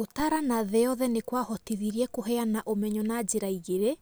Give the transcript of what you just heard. Gũtarana thĩĩ yothe nĩ kwahotithirie kũheana ũmenyo na njĩra igĩrĩ